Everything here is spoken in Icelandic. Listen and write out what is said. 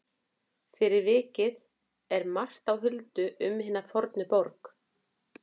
Fyrir vikið er margt á huldu um hina fornu borg.